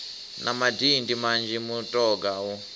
na madindi manzhi mutoga u